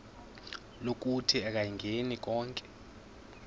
lokuthi akayingeni konke